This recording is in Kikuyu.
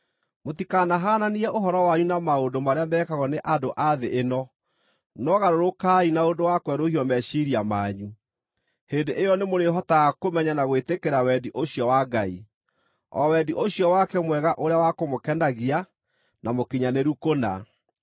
Mũtikanahaananie ũhoro wanyu na maũndũ marĩa mekagwo nĩ andũ a thĩ ĩno; no garũrũkai na ũndũ wa kwerũhio meciiria manyu. Hĩndĩ ĩyo nĩmũrĩhotaga kũmenya na gwĩtĩkĩra wendi ũcio wa Ngai, o wendi ũcio wake mwega ũrĩa wa kũmũkenagia, na mũkinyanĩru kũna.